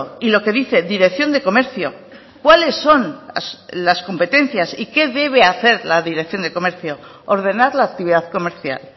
y lo que dice dirección de comercio cuáles son las competencias y qué debe hacer la dirección de comercio ordenar la actividad comercial